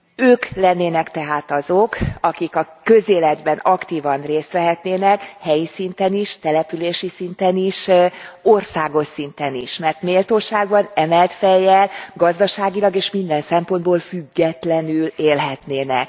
Ők lennének tehát azok, akik a közéletben aktívan részt vehetnének, helyi szinten is, települési szinten is, országos szinten is. Mert méltósággal, emelt fejjel, gazdaságilag és minden szempontból függetlenül élhetnének.